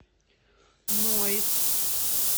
ноис